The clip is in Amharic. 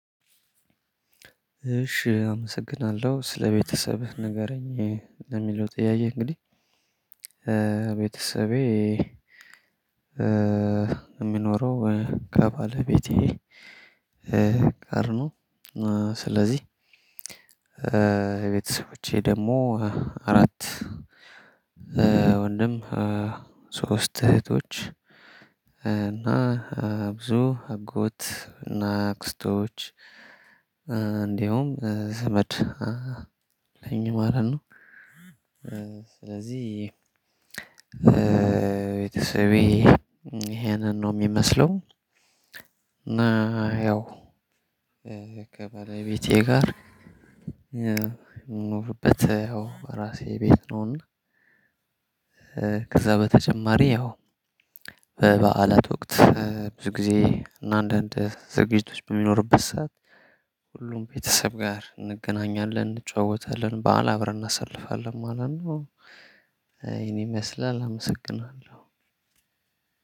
እሽ አመሰግናለሁ ስለቤተሰብህ ንገረኝ ለሚለው ጥያቄ እንግዲህ ቤተሰቤ እሚኖረው ከባለቤቴ ጋር ነው። ስለዚህ ቤተሰቦቼ ደግሞ አራት ወንድም ሶስት እህቶች እና ብዙ አጎት እና አክስቶች እንደውም ዘመድ አለኝ ማለት ነው። ስለዚህ ቤተሰቤ ይሄንን ነው እሚመስለው። እና ያው ከባለቤቴ ጋር እምኖርበት ያው እራሴ ቤት ነው። እና ከዛ በተጨማሪ ያው በበዓላት ወቅት ብዙ ጊዜ እና አንዳንድ ዝግጅቶች በሚኖሩበት ሰዓት ሁሉም ቤተሰብ ጋር እንገናኛለን እንጫወታለን በዓል አብረን እናሳልፋለን ማለት ነው። ይህን ይመስላል አመሰግናለሁ።